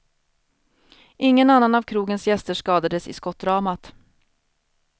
Ingen annan av krogens gäster skadades i skottdramat.